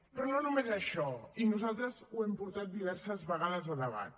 però no només això i nosaltres ho hem portat diverses vegades a debat